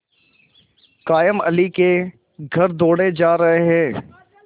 कायमअली के घर दौड़े जा रहे हैं